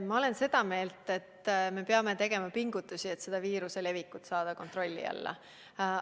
Ma olen seda meelt, et me peame tegema pingutusi, et viiruse levik kontrolli alla saada.